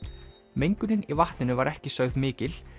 mengunin í vatninu var ekki sögð mikil